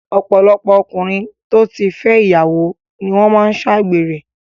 Ọ̀pọ̀lọpọ̀ ọkùnrin tí ó ti fẹ́ ìyàwó ni wọ́n máa ń ṣe àgbèrè